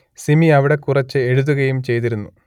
സിമി അവിടെ കുറച്ചു എഴുതുകയും ചെയ്തിരുന്നു